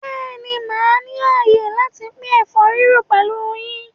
Bẹ́ẹ̀ ni, màá ní àyè láti pín ẹ̀fọ́ rírò pẹ̀lú yín.